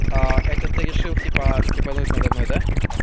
это ты решил типа стебануть надо мной да